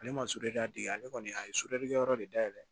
Ale ma sodeli da d ale kɔni a ye kɛ yɔrɔ de dayɛlɛ